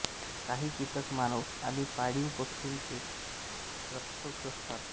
काहीं कीटक मानव आणि पाळीव पशूंचे रक्त शोषतात